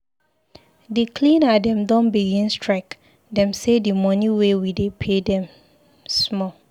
Di cleaner dem don begin strike. Dem sey di money wey we dey pay dey small.